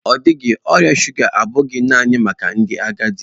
Ọ dịghị, ọrịa shụga abụghị naanị maka ndị agadi.